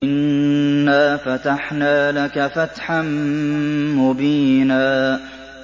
إِنَّا فَتَحْنَا لَكَ فَتْحًا مُّبِينًا